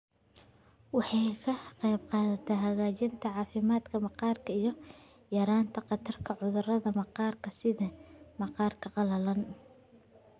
Waxay ka qaybqaadataa hagaajinta caafimaadka maqaarka iyo yaraynta khatarta cudurrada maqaarka sida maqaarka qalalan.